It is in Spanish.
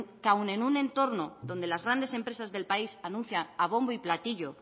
aun en un entorno donde las grandes empresas del país anuncian a bombo y platillo